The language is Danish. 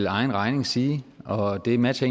egen regning sige og det matcher